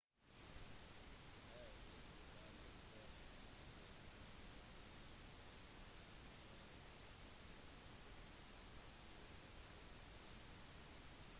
på 60-tallet dro han tilbake til det nylig selvstendige algerie for å undervise i filmregissering